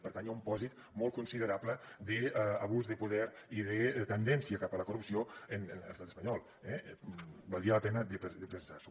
per tant hi ha un pòsit molt considerable d’abús de poder i de tendència cap a la corrupció en l’estat espanyol eh valdria la pena de pensar s’ho